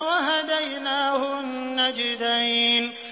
وَهَدَيْنَاهُ النَّجْدَيْنِ